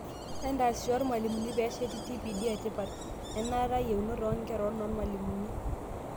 Entaasisho oormalimuni pesheti TPD etipat, enaata yeunot oonkera onoormalimuni.